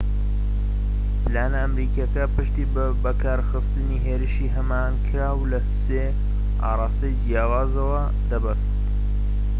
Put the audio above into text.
پلانە ئەمریکیەکە پشتی بە بەکارخستنی هێرشی هەماهەنگیکراو لە سێ ئاڕاستەی جیاوازەوە دەبەست